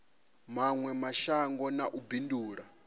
mawe mashango na u bindula